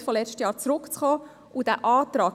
Sie belastet das Budget wenig.